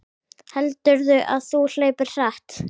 Heldurðu að þú hlaupir hratt?